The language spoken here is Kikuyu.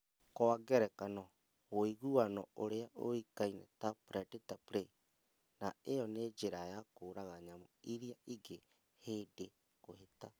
Kwa ngerekano, woiguano ũrĩa ũĩkaine ta predator prey, naĩyo nĩ njĩra ya kũraga nyamũ iria ingĩ hĩndĩ kũhĩta